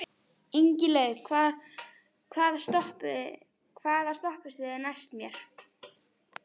Ingilaug, hvaða stoppistöð er næst mér?